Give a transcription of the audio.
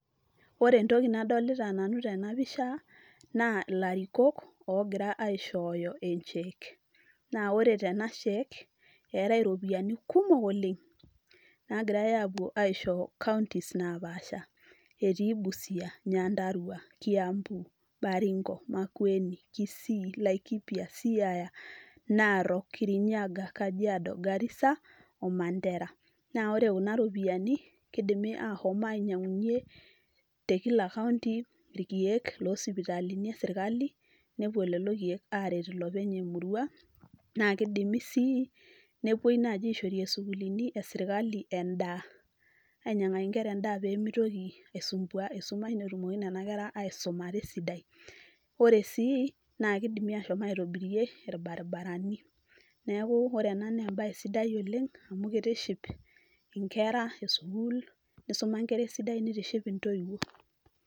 ore entoki nadolita nanu tenapisha naa ilarikok ogira aishooyo en cheque naa wore tena shek etae iropiyiani kumok oleng nagirae apuo aisho counties napaasha etii busia, nyandarua, kiambu, baringo, laikipia, makueni, kisii, siaya, narok, kirinyaga, kajiado, garissa o mandera naa ore kuna ropiyiani kidim ahom ainyianginyie tekila county irkiek losipitalini esirkali nepuo lolo kiek aret ilopeny emurua naa kidimi sii nepuoi naaji aishorie isukulini esirkali endaa ainyiang'aki inkera endaa pemitoki aisumbua esumash netumoki nana kera aisumata esidai ore sii naa kidimi ashom aitobirie irbaribarani neeku ore ena naa embaye sidai oleng amu kitiship inkera esukul nisuma inkera esidai nitiship intoiwuo.